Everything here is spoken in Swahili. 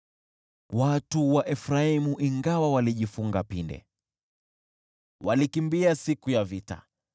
Watu wa Efraimu, ingawa walijifunga pinde, walikimbia siku ya vita.